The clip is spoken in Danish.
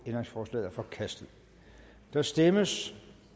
ændringsforslaget er forkastet der stemmes